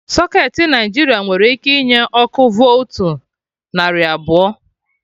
Socketị Naijiria nwere ike inye ọkụ voltu narị abụọ